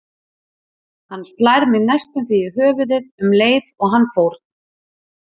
Hann slær mig næstum því í höfuðið um leið og hann fórn